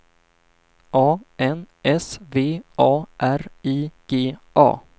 A N S V A R I G A